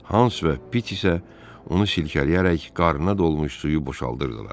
Hans və Pit isə onu silkələyərək qarnına dolmuş suyu boşaldırdılar.